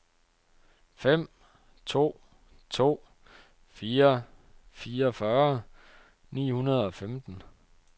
fem to to fire fireogfyrre ni hundrede og femten